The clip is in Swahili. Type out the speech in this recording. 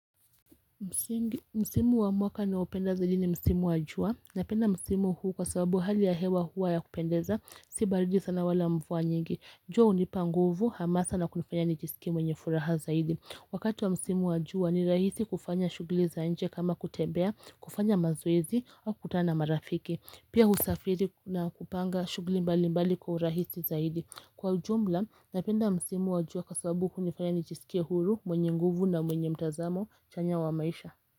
Msimu wa mwaka naopenda zaidi ni Msimu wa jua. Napenda Msimu huu kwa sababu hali ya hewa huwa ya kupendeza. Si baridi sana wala mvua nyingi. Jua hunipa nguvu hamasa na kunifanya nijisikie mwenye furaha zaidi. Wakati wa msimu wa jua ni rahisi kufanya shugli za nje kama kutebea, kufanya mazoezi au kukutana na marafiki. Pia husafiri na kupanga shugli mbalimbali kwa urahisi zaidi. Kwa ujumla, napenda msimu wa jua kwa sabu hunifanya nijisikie huru, mwenye nguvu na mwenye mtazamo. Chanya wa maisha.